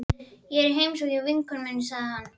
Ég er í heimsókn hjá vinkonu minni, sagði hann.